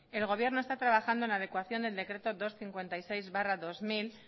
el gobierno está trabajando en la adecuación del decreto doscientos cincuenta y seis barra dos mil